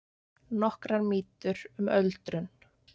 Nokkrar mýtur um öldrun